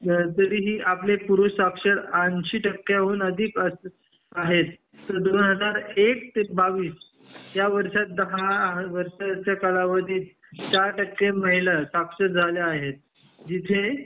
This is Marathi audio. जरी ही आकडे साक्षर एंशी टक्क्यावर हून आहेत दोन हजार एक ते दोन हजार बावीस या वर्षात दहा वर्षच्या कालावधीत साठ टक्के महिला साक्षर झाल्या आहेत जिथे